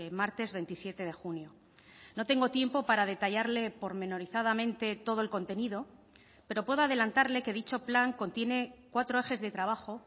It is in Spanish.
martes veintisiete de junio no tengo tiempo para detallarle pormenorizadamente todo el contenido pero puedo adelantarle que dicho plan contiene cuatro ejes de trabajo